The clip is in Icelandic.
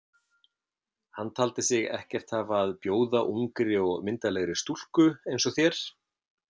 Hann taldi sig ekkert hafa að bjóða ungri og myndarlegri stúlku eins og þér.